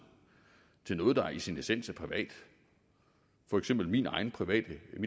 noget der i sin essens er privat for eksempel mit eget private